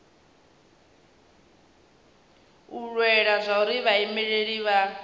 u lwela zwauri vhaimeleli vha